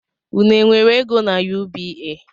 Unu e nwere ego n’UBA?